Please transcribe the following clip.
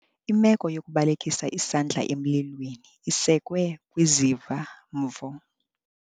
Imeko yokubalekisa isandla emlilweni isekwe kwiziva-mvo.